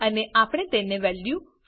અને આપણે તેને વેલ્યુ 5